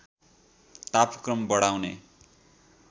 तापक्रम बढाउने